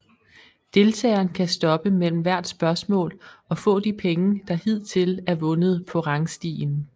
Deltageren kan stoppe mellem hvert spørgsmål og få de penge der hidtil er vundet på rangstien